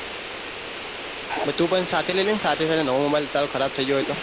તું પણ સાથે લઇ લેને સાથે સાથે નેવો mobile તારો ખરાબ થઇ ગયો હોય તો